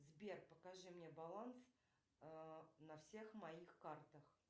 сбер покажи мне баланс на всех моих картах